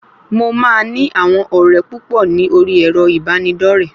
Mo máa ní àwọn ọ̀rẹ́ púpọ̀ ní orí ẹ̀rọ ìbánidọ́rẹ̀ẹ́